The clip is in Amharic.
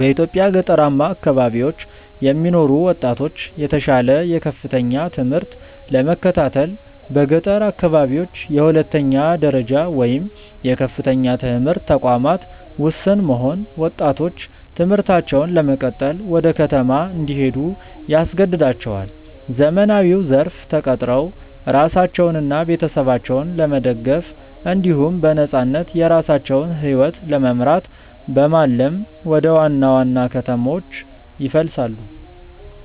በኢትዮጵያ ገጠራማ አካባቢዎች የሚኖሩ ወጣቶች የተሻለ የከፍተኛ ትምህርት ለመከታተል በገጠር አካባቢዎች የሁለተኛ ደረጃ ወይም የከፍተኛ ትምህርት ተቋማት ውስን መሆን ወጣቶች ትምህርታቸውን ለመቀጠል ወደ ከተማ እንዲሄዱ ያስገድዳቸዋል። ዘመናዊው ዘርፍ ተቀጥረው ራሳቸውንና ቤተሰባቸውን ለመደገፍ እንዲሁም በነፃነት የራሳቸውን ሕይወት ለመምራት በማለም ወደ ዋና ዋና ከተሞች ይፈልሳሉ።